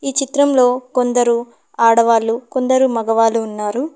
ఈ చిత్రంలో కొందరు ఆడవాళ్లు కొందరు మగవాళ్ళు ఉన్నారు.